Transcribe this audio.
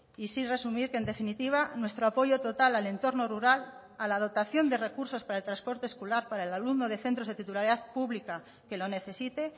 y sí resumir que en definitiva nuestro apoyo total al entorno rural a la dotación de recursos para el transporte escolar para el alumno de centros de titularidad pública que lo necesite